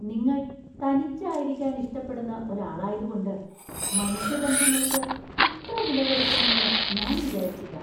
നിങ്ങൾ തനിച്ചായിരിക്കാൻ ഇഷ്ടപ്പെടുന്ന ഒരാളായതുകൊണ്ട്, മനുഷ്യബന്ധങ്ങൾക്ക് ഇത്ര വിലകൊടുക്കുമെന്ന് ഞാൻ വിചാരിച്ചില്ല .